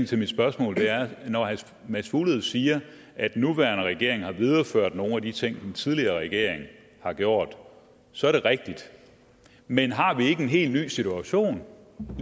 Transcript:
til mit spørgsmål er at når herre mads fuglede siger at den nuværende regering har videreført nogle af de ting den tidligere regering har gjort så er det rigtigt men har vi ikke en helt ny situation